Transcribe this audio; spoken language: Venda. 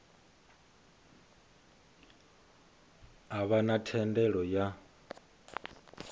a vha na thendelo ya